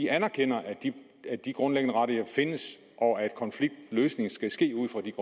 anerkender at de grundlæggende rettigheder findes og at konfliktløsning skal ske ud fra de